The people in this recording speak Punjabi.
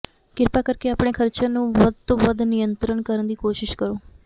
ਕਿਰਪਾ ਕਰਕੇ ਆਪਣੇ ਖਰਚਿਆਂ ਨੂੰ ਵੱਧ ਤੋਂ ਵੱਧ ਨਿਯੰਤਰਣ ਕਰਨ ਦੀ ਕੋਸ਼ਿਸ਼ ਕਰੋ